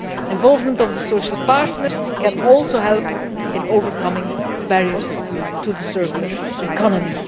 Involvement of the social partners can also help in overcoming barriers to the circular economy.